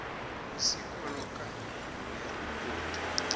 isikolo kanye neripoti